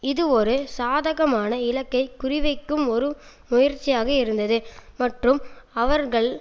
இது ஒரு சாதகமான இலக்கை குறிவைக்கும் ஒரு முயற்சியாக இருந்தது மற்றும் அவர்கள்